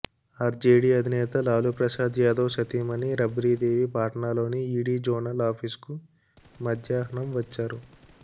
RJD అధినేత లాలూ ప్రసాద్ యాదవ్ సతీమణి రబ్రీదేవి పాట్నాలోని ఈడీ జోనల్ ఆఫీసుకు మధ్యాహ్నం వచ్చారు